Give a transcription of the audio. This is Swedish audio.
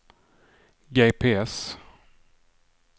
GPS